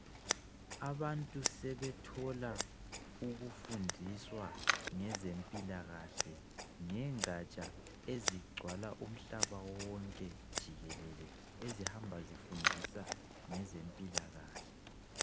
Abantu sebetholwa ukufundiswa ngezempilakahle ngengatsha ezigcwala umhlaba wonke jikelele ezihamba zifundisa ngezempilakahle.